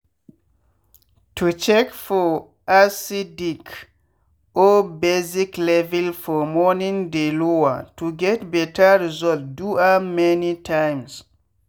to check for acidic or basic level for morning dey lower- to get better result do am many times.